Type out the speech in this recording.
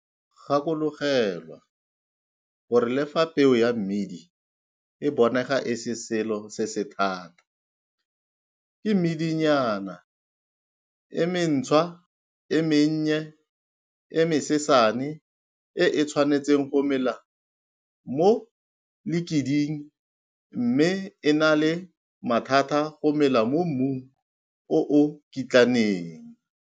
Gakologelwa gore le fa peo ya mmidi e bonega e le selo se se thata, ke medinyana e mentshwa e mennye e mesesane e e tshwanetseng go mela mo lekiding mme e na le mathata go mela mo mmung o o kitlaneng.